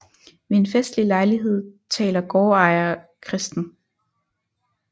Ved en festlig lejlighed taler gårdejer Chr